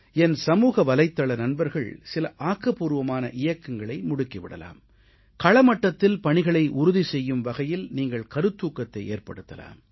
என் சமூகவலைத்தள நண்பர்கள் சில ஆக்கப்பூர்வமான இயக்கங்களை முடுக்கி விடலாம் களமட்டத்தில் பணிகளை உறுதி செய்யும் வகையில் நீங்கள் கருத்தூக்கத்தை ஏற்படுத்தலாம்